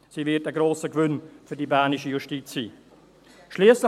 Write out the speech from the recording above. Sie wird für die bernische Justiz ein grosser Gewinn sein.